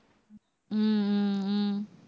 ஹம் ஹம் உம்